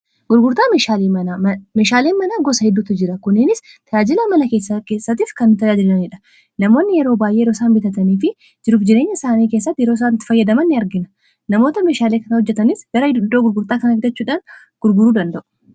Gurgurtaa meeshaaleen mana gosa hedduutu jira. Kunis tajaajila mana keessattii fi kan tajaajilaniidha. Namoonni yeroo baay'ee yeroo isaan bitatanii fi jiru fi jireenya isaanii keessatti yeroo isaan itti fayyadaman ni argina. Namoota meshaalee kan hojjatanis gara iddoo gurgurtaa kan argachuudhaan gurguruu ni danda'u.